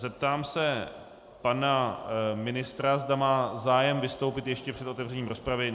Zeptám se pana ministra, zda má zájem vystoupit ještě před otevřením rozpravy.